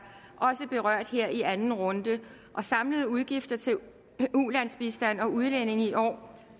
også berørt her i anden runde de samlede udgifter til ulandsbistand og udlændinge i år er